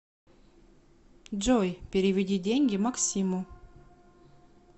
джой переведи деньги максиму